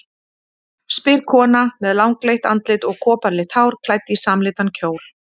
spyr kona með langleitt andlit og koparlitt hár, klædd í samlitan kjól.